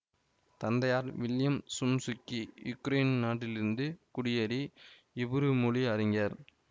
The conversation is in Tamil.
தந்தையார் வில்லியம் சோம்சுக்கி யுக்ரேன் நாட்டிலிருந்து குடியேறி இப்ரு மொழி அறிஞர்